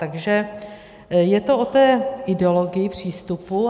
Takže je to o té ideologii, přístupu.